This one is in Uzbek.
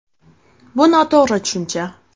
Bu noto‘g‘ri tushuncha.